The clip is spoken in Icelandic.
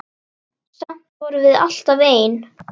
Samt vorum við alltaf ein.